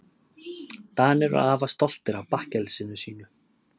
Danir eru afar stoltir af bakkelsinu sínu.